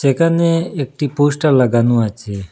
এখানে একটি পোস্টার লাগানো আছে।